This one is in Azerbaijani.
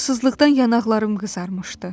Havasızlıqdan yanaqlarım qızarmışdı.